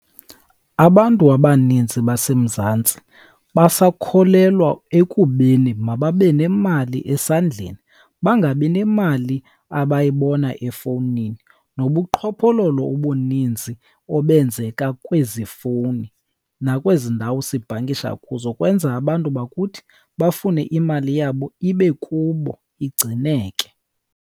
Abantu abanintsi baseMzantsi basakholelwa ekubeni mababe nemali esandleni bangabi nemali abayibona efowunini. Nobuqhophololo obuninzi obenzeka kwezi fowuni nakwezi ndawo sibhankisha kuzo kwenza abantu bakuthi bafune imali yabo ibe kubo, igcineke.